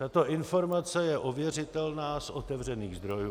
Tato informace je ověřitelná z otevřených zdrojů.